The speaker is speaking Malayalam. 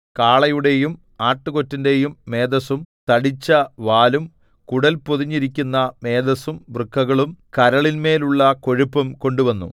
കാളയുടെയും ആട്ടുകൊറ്റന്റെയും മേദസ്സും തടിച്ചവാലും കുടൽ പൊതിഞ്ഞിരിക്കുന്ന മേദസ്സും വൃക്കകളും കരളിന്മേലുള്ള കൊഴുപ്പും കൊണ്ടുവന്നു